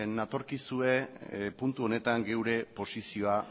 natorkizue puntu honetan geure posizioa